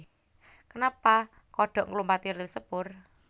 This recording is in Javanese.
Kenapa kodhok nglumpati ril sepur